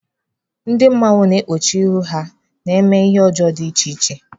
Ndị mmanwụ na-ekpuchi ihu ha eme ihe ọjọọ dị iche iche.